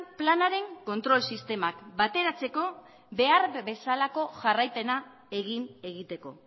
planaren kontrol sistemak bateratzeko behar bezalako jarraipena egin egiteko